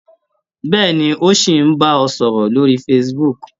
Bẹ́ẹ̀ni, ó ṣì ń bá ẹ sọ̀rọ̀ lórí facebook.